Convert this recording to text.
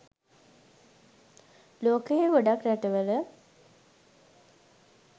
ලෝකයේ ගොඩක් රටවල